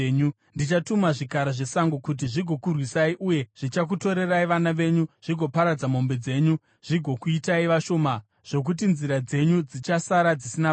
Ndichatuma zvikara zvesango kuti zvizokurwisai, uye zvichakutorerai vana venyu, zvigoparadza mombe dzenyu zvigokuitai vashoma zvokuti nzira dzenyu dzichasara dzisina vanhu.